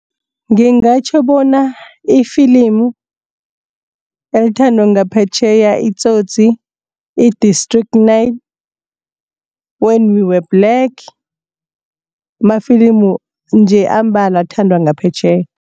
Ngingatjho bona ifilimu elithandwa ngaphetjheya iTsotsi, i-District Nine, When We Were Black mafilimu nje ambalwa athandwa ngaphetjheya.